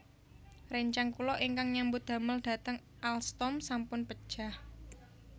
Rencang kula ingkang nyambut damel dhateng Alstom sampun pejah